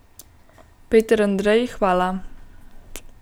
Peter Andrej, hvala.